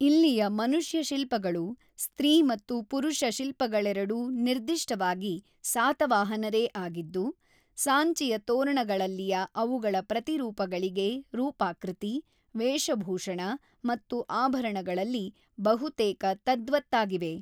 ಇಲ್ಲಿಯ ಮನುಷ್ಯ ಶಿಲ್ಪಗಳು, ಸ್ತ್ರೀ ಮತ್ತು ಪುರುಷ ಶಿಲ್ಪಗಳೆರಡೂ ನಿರ್ದಿಷ್ಟವಾಗಿ ಸಾತವಾಹನರೇ ಆಗಿದ್ದು, ಸಾಂಚಿಯ ತೋರಣಗಳಲ್ಲಿಯ ಅವುಗಳ ಪ್ರತಿರೂಪಗಳಿಗೆ ರೂಪಾಕೃತಿ, ವೇಷಭೂಷಣ ಮತ್ತು ಆಭರಣಗಳಲ್ಲಿ ಬಹುತೇಕ ತದ್ವತ್ತಾಗಿವೆ.